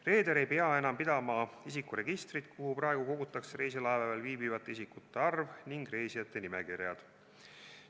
Reeder ei pea enam pidama isikuregistrit, kuhu praegu kogutakse reisilaevadel viibivate isikute arv ja reisijate nimekirjad.